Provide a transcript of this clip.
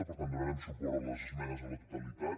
per tant donarem suport a les esmenes a la totalitat